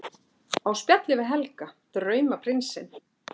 Á spjalli við Helga, draumaprinsinn!